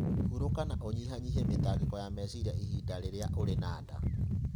Hurũka na ũnyihanyihie mĩtangĩko ya meciria ihinda rĩrĩa ũrĩ na nda.